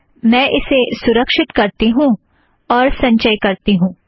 मैं इसे सुरश्क्षित करती हूँ और संचय करती हूँ